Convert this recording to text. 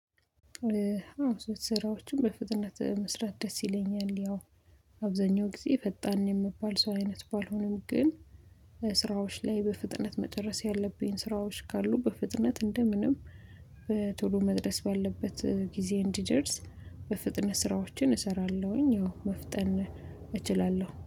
ስራዎችን በፍጥነት መስራት ደስ ይለኛል። ያው አብዛኛው ጊዜ ፈጣን የሚባል ሰው አይነት ባልሆንም፤ ግን ስራዎች ላይ በፍጥነት መጨረስ ያለብኝ ስራዎች ካሉ በፍጥነት እንደ ምንም በቶሎ መድረስ ባለበት ጊዜ እንዲደርስ፤ በፍጥነት ስራዎችን እሰራለሁኝ አዎ መፍጠን እችላለሁ።